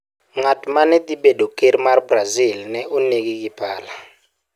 Ng'at ma ne dhi bedo ker mar Brazil ne onegi gi pala